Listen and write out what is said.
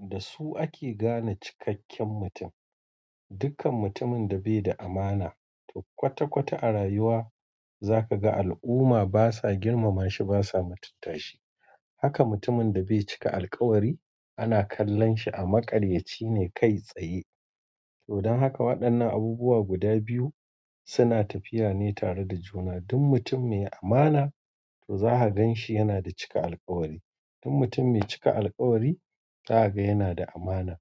Da su ake gane cikakken mutum. Dukkan mutumin da be da amana to kwata kwata a rayuwa za ka ga al'umma basa girmama shi basa mutunta shi. Haka mutumin da bai cika alkawari ana kallon shi a maƙaryaci ne kai tsaye. To don haka waɗannan abubuwa guda biyu suna tafiya ne tare da juna. Duk mutum mai amana to za ka gan shi yana da cika alkawari. Duk mutum mai cika alkawari za ka ga yana da amana.